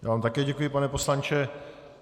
Já vám také děkuji, pane poslanče.